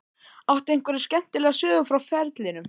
Áttu einhverja skemmtilega sögu frá ferlinum?